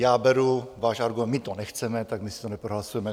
Já beru váš argument: My to nechceme, tak my si to neprohlasujeme.